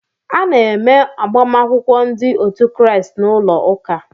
A na-eme agbamakwụkwọ ndị otu Kraịst n'ụlọ ụka.